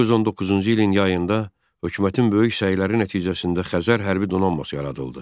1919-cu ilin yayında hökumətin böyük səyləri nəticəsində Xəzər hərbi donanması yaradıldı.